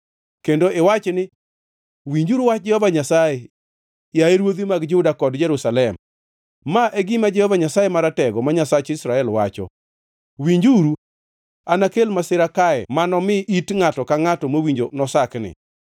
kendo iwach ni, ‘Winjuru wach Jehova Nyasaye, yaye ruodhi mag Juda kod jo-Jerusalem. Ma e gima Jehova Nyasaye Maratego, ma Nyasach Israel, wacho: Winjuru! Anakel masira kae mano mi it ngʼato ka ngʼato mowinjo nosakni,